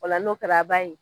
O la n'o kɛla a b'a ye